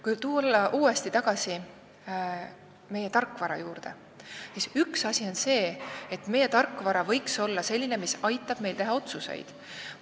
Kui tulla uuesti tagasi meie tarkvara juurde, siis see võiks olla selline, mis aitab meil teha otsuseid.